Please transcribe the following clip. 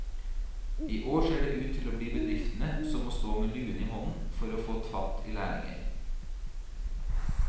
I år ser det ut til å bli bedriftene som må stå med luen i hånden for å få fatt i lærlinger.